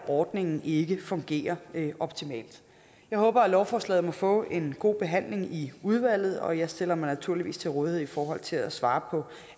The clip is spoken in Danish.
ordningen ikke fungerer optimalt jeg håber at lovforslaget må få en god behandling i udvalget og jeg stiller mig naturligvis til rådighed i forhold til at svare på